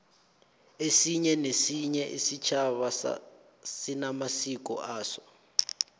esinye nesinye isitjhaba sinamasiko aso